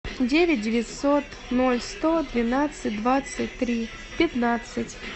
девять девятьсот ноль сто двенадцать двадцать три пятнадцать